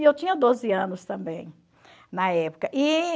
E eu tinha doze anos também na época. E...